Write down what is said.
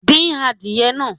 Dín adìyẹ náà